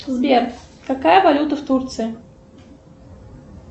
сбер какая валюта в турции